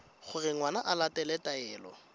gore ngwana o latela taelo